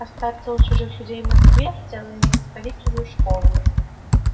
остаться у чужих людей в москве и целый месяц ходить в чужую школу